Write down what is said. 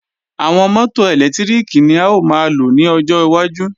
Àwọn mọ́tò ẹ̀lẹ́tíríkì ni a ó máa lò ní ọjọ́ iwájú